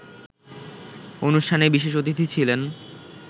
অনুষ্ঠানে বিশেষ অতিথি ছিলেন